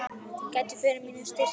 gæti orðið föður mínum dýrt spaug.